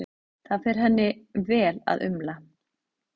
Það fer henni vel að umla.